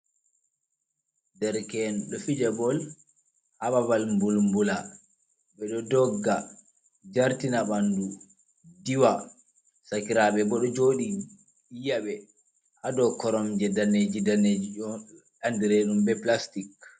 Derken do fija bol ha babal mbulmbula, ɓeɗo dogga jartina ɓandu diwa, sakirabe bo ɗo joɗi yi'abe hadow korom je daneji daneji andireɗum be plastic.